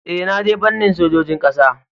Ee, na je fannin sojojin kasa